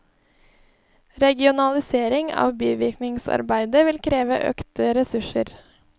Regionalisering av bivirkningsarbeidet vil kreve økte ressurser.